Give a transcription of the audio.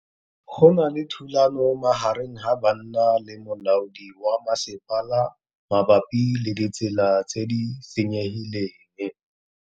Go na le thulanô magareng ga banna le molaodi wa masepala mabapi le ditsela tse di senyegileng.